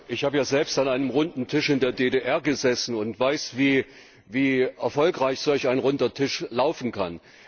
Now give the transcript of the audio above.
Ich habe ja selbst an einem Runden Tisch in der DDR gesessen und weiß, wie erfolgreich solch ein Runder Tisch laufen kann.